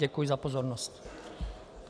Děkuji za pozornost.